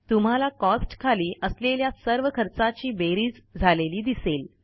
तुम्हाला कॉस्ट खाली असलेल्या सर्व खर्चाची बेरीज झालेली दिसेल